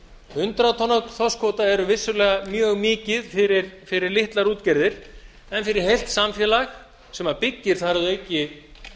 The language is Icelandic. hundrað tonn af þorskkvóta er vissulega mjög mikið fyrir litlar útgerðir en fyrir heilt samfélag sem byggir þar að auki